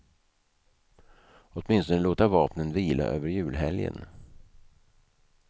Åtminstone låta vapnen vila över julhelgen.